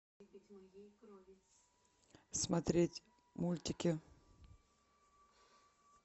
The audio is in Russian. смотреть мультики